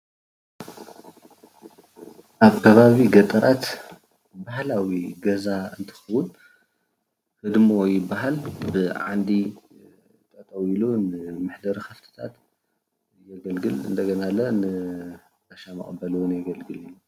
ኣብ ከባቢ ገጠራት ባህላዊ ገዛ እንትከውን ህድሞ ይባሃል፡፡ ብዓንዲ ጠጠው ኢሊ መሕደሪ ከፍትታት የገልግል እንደገና ለ ንጋሻ መቀበሊ እውን የገልግል እዩ፡፡